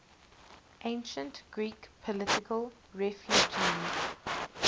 ancient greek political refugees